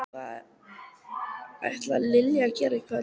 Hvað ætlar Lilja að gera í kvöld?